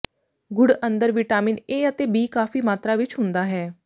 ਗੁੜ੍ਹ ਅੰਦਰ vitamin A ਅਤੇ B ਕਾਫੀ ਮਾਤਰਾ ਵਿੱਚ ਹੁੰਦਾ ਹੈ